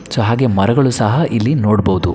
ಚಹಾಗೆ ಮರಗಳು ಸಹ ಇಲ್ಲಿ ನೋಡಬಹುದು.